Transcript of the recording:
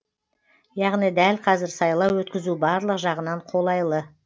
яғни дәл қазір сайлау өткізу барлық жағынан қолайлы